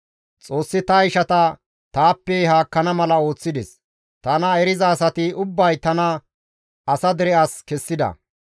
«Xoossi ta ishati taappe haakkana mala ooththides; tana eriza asati ubbay tana asa dere as kessida.